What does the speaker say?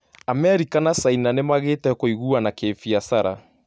America na Caina nĩ magĩte kũiguana kĩbiacara